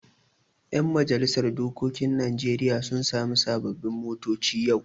Yan majalisar dokokin Najeriya sun sami sababbin motoci yau.